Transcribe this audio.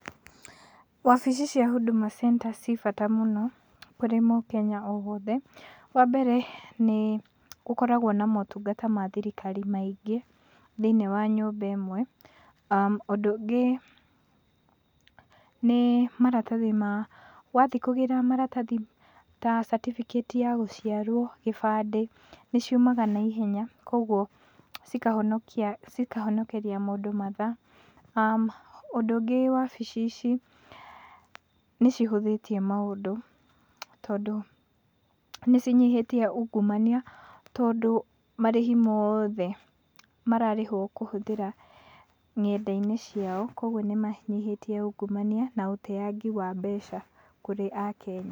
Wabici cia Huduma Center ci bata mũno kũrĩ mũkenya o wothe. Wa mbere nĩ gũkoragwo na motungata ma thirikari maingĩ thĩiniĩ wa nyũmba ĩmwe. Ũndũ ũngĩ nĩ maratathi ma wathiĩ kũgĩra maratathi ta certificate ya gũciarwo, gĩbandĩ, nĩ ciumaga naihenya, koguo cikahonokeria mũndũ mathaa. Ũndũ ũngĩ wabici ici nĩ cihũthĩtie maũndũ, tondũ nĩ cinyihĩtie ungumania, tondũ marĩhi mothe mararĩhwo kũhũthĩra nenda-inĩ ciao. Koguo nĩ manyihĩtie ungumania na ũteangi wa mbeca kũrĩ akenya.